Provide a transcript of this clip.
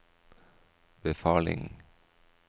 befaling